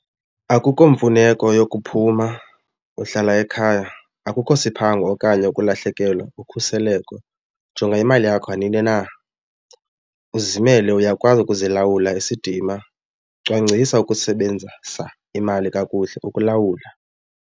Akukho mfuneko yokuphuma uhlala ekhaya. Akukho siphango okanye kulahlekelwa ukhuseleko, jonga imali yakho nanini na, uzimele uyakwazi ukuzilawula isidima, cwangcisa ukusebenzisa imali kakuhle ukulawula.